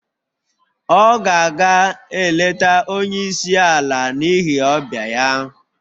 Ọ ga-aga eleta onye isi ala n'ihi ọbịa ya